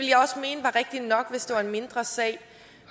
rigtigt nok hvis det var en mindre sag